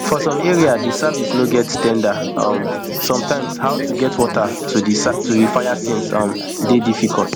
for some areas di service no get ten ders um sometimes how to get water to di fire scene um dey difficult